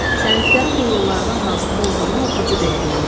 Sənətkarın bu yollardan hansında olduğunu oxucu deyə bilər.